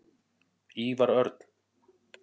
Ívar Örn.